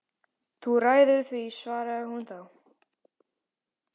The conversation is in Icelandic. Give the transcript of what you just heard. Þú ræður því, svaraði hún þá.